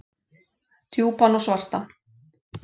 Djúpan og svartan.